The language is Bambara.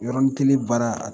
Yɔrɔnin kelen baara